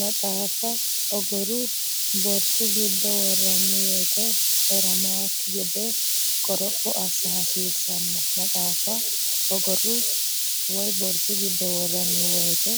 Maxaafa ogoru(borsu)giddo worranni wote eramannokki gede qoropho assa hasiissanno Maxaafa ogoru(borsu)giddo worranni wote